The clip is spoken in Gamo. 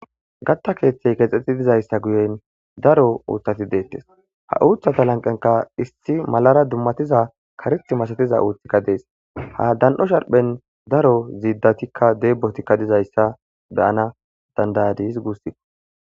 Gatta keeththey geexxeti dizayssa guyen daro uuththati deettes ha uuththata lanqenkka issi malara dummatiza kareththa masatiza uuththikka dees ha dan'o sharphen daro ziidatikka deebotikka dizayssa beyana danddayadis guussiko